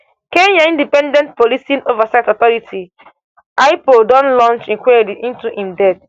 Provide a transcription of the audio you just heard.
kenya independent policing oversight authority ipoa don launch inquiry into im death um